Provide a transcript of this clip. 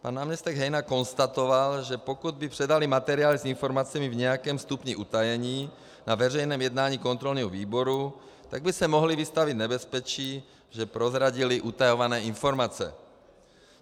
Pan náměstek Hejna konstatoval, že pokud by předali materiály s informacemi v nějakém stupni utajení na veřejném jednání kontrolního výboru, tak by se mohli vystavit nebezpečí, že prozradili utajované informace.